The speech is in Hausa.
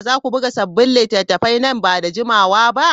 Za ku buga sabbin littattafai nan ba da jimawa ba?